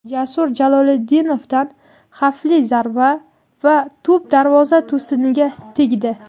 Jasur Jaloliddinovdan xavfli zarba va to‘p darvoza to‘siniga tegdi!.